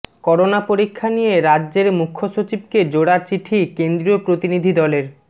corona পরীক্ষা নিয়ে রাজ্যের মুখ্যসচিবকে জোড়া চিঠি কেন্দ্রীয় প্রতিনিধি দলের